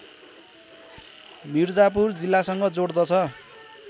मिर्जापुर जिल्लासँग जोड्दछ